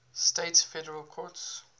states federal courts